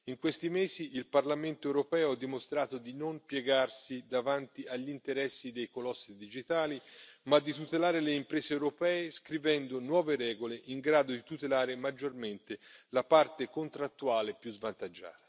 In questi mesi il Parlamento europeo ha dimostrato di non piegarsi davanti agli interessi dei colossi digitali, ma di tutelare le imprese europee scrivendo nuove regole in grado di tutelare maggiormente la parte contrattuale più svantaggiata.